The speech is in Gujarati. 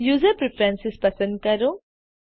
યુઝર પ્રેફરન્સ પસંદ કરો